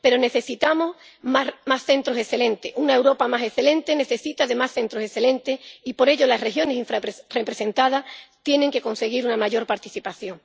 Pero necesitamos más centros excelentes. Una Europa más excelente necesita, además, centros excelentes y, por ello, las regiones infrarrepresentadas tienen que conseguir una mayor participación.